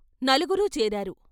నలుగురూ చేరారు.